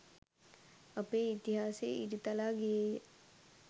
අපේ ඉතිහාසය ඉරිතලා ගියේය.